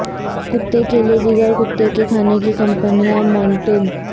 کتے کے لئے دیگر کتے کے کھانے کی کمپنیاں مونٹج